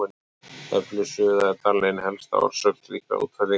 Öflug suða er talin ein helsta orsök slíkra útfellinga.